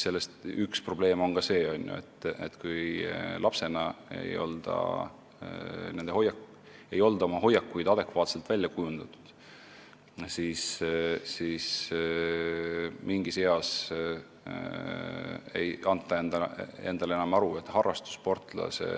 Ehk üks probleem on ka see, et kui lapsepõlves ei ole hoiakuid adekvaatselt välja kujundatud, siis mingis eas ei anta endale enam aru, et harrastussportlase